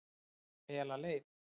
Fela leið